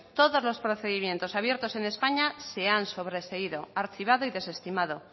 todos los procedimientos abiertos en españa se han sobreseído archivado y desestimado